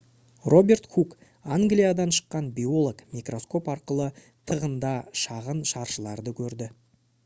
роберт хук англиядан шыққан биолог микроскоп арқылы тығында шағын шаршыларды көрді